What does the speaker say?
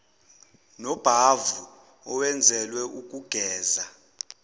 nobhavu owenzelwe ukugeza